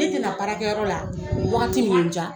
Ne tɛna baarakɛyɔrɔ la wagati min diya.